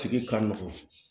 Sigi ka nɔgɔn